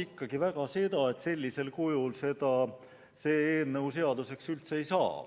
ikkagi väga loodan, et sellisel kujul see eelnõu seaduseks üldse ei saa.